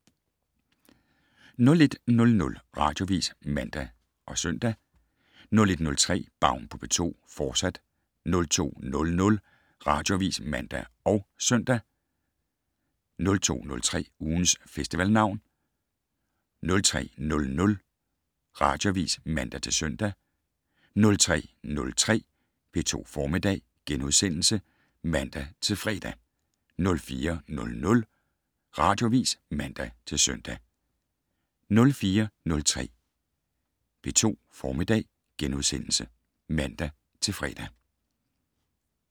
01:00: Radioavis (man og -søn) 01:03: Baun på P2, fortsat 02:00: Radioavis (man og -søn) 02:03: Ugens Festivalnavn 03:00: Radioavis (man-søn) 03:03: P2 Formiddag *(man-fre) 04:00: Radioavis (man-søn) 04:03: P2 Formiddag *(man-fre)